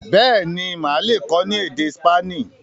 béèni Má le kọ ní èdè Spani.